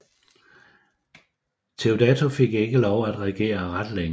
Teodato fik ikke lov at regere ret længe